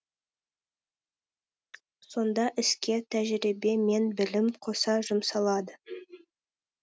сонда іске тәжірибе мен білім қоса жұмсалады